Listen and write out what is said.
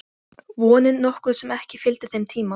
Vonin nokkuð sem ekki fylgdi þeim tíma.